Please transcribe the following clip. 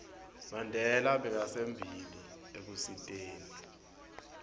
mandela bekasembili ekusiteni